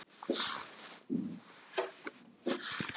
Svo er háttað um þessar mundir, og verður